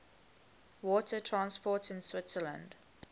water transport in switzerland